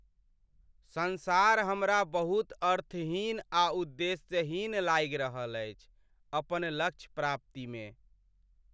संसार हमरा बहुत अर्थहीन आ उद्देश्यहीन लागि रहल अछि अपन लक्ष्य प्राप्ति में ।